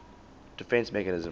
defence mechanism